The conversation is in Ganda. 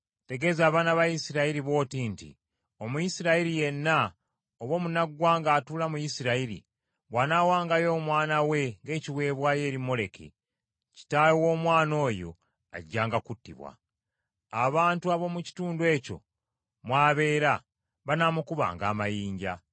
“Tegeeza abaana ba Isirayiri bw’oti nti, Omuyisirayiri yenna, oba omunnaggwanga atuula mu Isirayiri, bw’anaawangayo omwana we ng’ekiweebwayo eri Moleki, kitaawe w’omwana oyo ajjanga kuttibwa. Abantu ab’omu kitundu ekyo mw’abeera banaamukubanga amayinja.